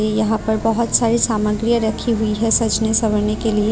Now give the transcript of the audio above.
यहां पर बहुत सारी सामग्रीया रखी हुई है सजने संवरने के लिए।